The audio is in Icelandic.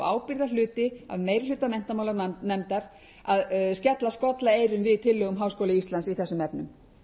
í sjálfu sér ámælisvert og ábyrgðarhluti af meiri hluta menntamálanefndar að skella skollaeyrum við tillögum háskóla íslands í þessum efnum